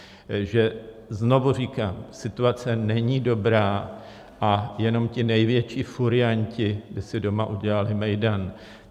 Takže znovu říkám, situace není dobrá a jenom ti největší furianti by si doma udělali mejdan.